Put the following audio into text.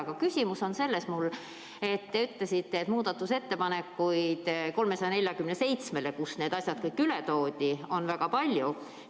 Aga küsimus on selles, et te ütlesite, et muudatusettepanekuid eelnõu 347 kohta, kust need asjad kõik üle toodi, on väga palju.